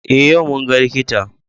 Eh yau mun ga likita.